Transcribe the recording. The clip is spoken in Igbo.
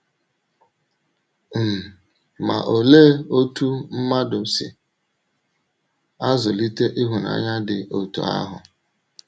um Ma olee otú mmadụ si azụlite ịhụnanya dị otú ahụ?